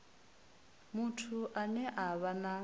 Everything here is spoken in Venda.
muthu ane a vha na